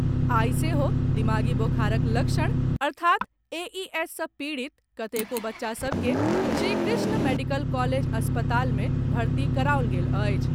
आइ सेहो दिमागी बोखारक लक्षण अर्थात् एईएस सॅ पीड़ित कतेको बच्चा सभ के श्रीकृष्ण मेडिकल कॉलेज अस्पताल में भर्ती कराओल गेल अछि।